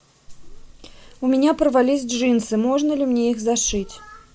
у меня порвались джинсы можно ли мне их зашить